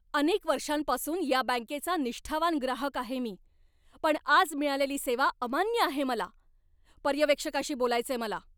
अनेक वर्षांपासून या बँकेचा निष्ठावान ग्राहक आहे मी, पण आज मिळालेली सेवा अमान्य आहे मला. पर्यवेक्षकाशी बोलायचंय मला!